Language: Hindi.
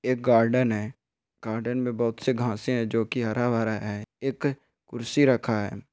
एक गार्डन है गार्डन में बहुत सी घासे से है जो की हरा भरा है एक कुर्सी रखा है।